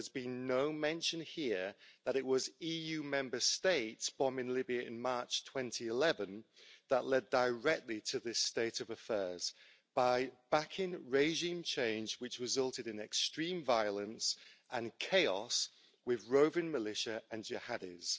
But there's been no mention here that it was EU Member States bombing Libya in March 2011 that led directly to this state of affairs by backing regime change which resulted in extreme violence and chaos, with roving militia and jihadis.